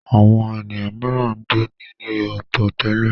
Àwọn ènìyàn mìíràn ń gbé nílé ọ̀tọ̀ tẹ́lẹ̀.